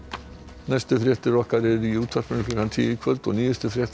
næstu fréttir okkar eru í útvarpi klukkan tíu í kvöld og nýjustu fréttir